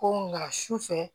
Ko nka sufɛ